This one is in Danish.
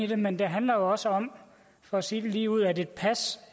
det men det handler også om for at sige det ligeud at et pas